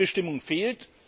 Echte Mitbestimmung fehlt.